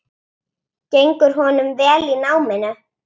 Gengur honum vel í náminu?